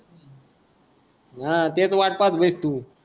हा तेच तू